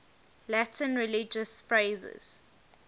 latin religious phrases